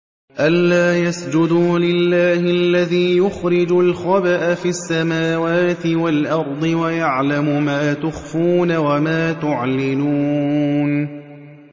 أَلَّا يَسْجُدُوا لِلَّهِ الَّذِي يُخْرِجُ الْخَبْءَ فِي السَّمَاوَاتِ وَالْأَرْضِ وَيَعْلَمُ مَا تُخْفُونَ وَمَا تُعْلِنُونَ